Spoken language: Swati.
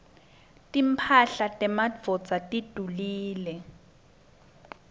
timphahla temadvodza tidulile